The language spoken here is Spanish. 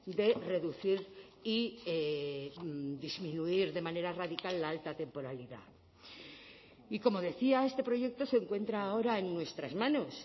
de reducir y disminuir de manera radical la alta temporalidad y como decía este proyecto se encuentra ahora en nuestras manos